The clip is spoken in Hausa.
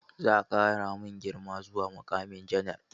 Za a ƙara mun girma zuwa muƙamin janar.